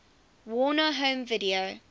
warner home video